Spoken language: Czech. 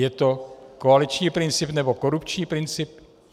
Je to koaliční princip, nebo korupční princip?